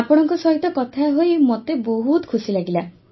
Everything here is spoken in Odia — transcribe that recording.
ଆପଣଙ୍କ ସହିତ କଥା ହୋଇ ମୋତେ ବି ବହୁତ ଖୁସି ଲାଗିଲା